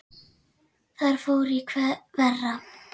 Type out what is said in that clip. Þar fór í verra.